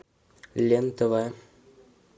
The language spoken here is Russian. лен тв